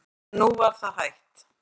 En nú var það hætt.